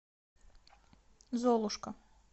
золушка